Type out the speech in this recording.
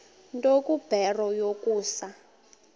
nto kubarrow yokusa